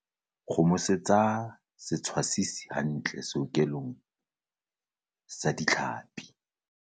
kgomosetsa setshwasisi hantle sehokelong ya ditlhapi